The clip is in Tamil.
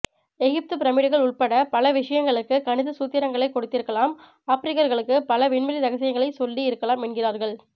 எகிப்து பிரமீடுகள் உட்பட பல விஷயங்களுக்கு கணித சூத்திரங்களை கொடுத்திருக்கலாம் ஆப்ரிக்கர்களுக்கு பல விண்வெளி ரகசியங்களை சொல்லி இருக்கலாம் என்கின்றார்கள்